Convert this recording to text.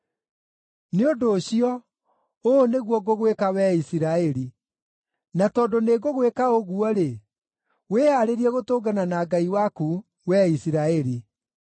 “Nĩ ũndũ ũcio, ũũ nĩguo ngũgwĩka wee Isiraeli, na tondũ nĩngũgwĩka ũguo-rĩ, wĩhaarĩrie gũtũngana na Ngai waku, wee Isiraeli.”